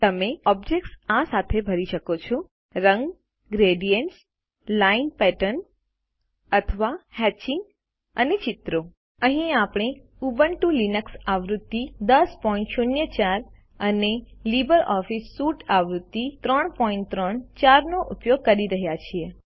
તમે ઓબ્જેક્ત્સ આ સાથે ભરી શકો છો રંગ ગ્રેડીએન્ટસ લાઈન પેટર્ન અથવા હેત્ચિંગ અને ચિત્રો અહીં આપણે ઉબુન્ટુ લિનક્સ આવૃત્તિ 1004 અને લિબ્રિઓફિસ સ્યુટ આવૃત્તિ 334 વાપરી રહ્યા છીએ